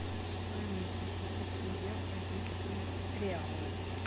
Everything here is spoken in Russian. стоимость десяти тенге в бразильские реалы